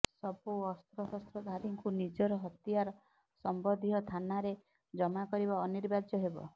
ସବୁ ଅସ୍ତ୍ରଶସ୍ତ୍ରଧାରୀଙ୍କୁ ନିଜର ହତିଆର ସମ୍ବଦ୍ଧୀୟ ଥାନାରେ ଜମା କରିବା ଅନିବାର୍ଯ୍ୟ ହେବ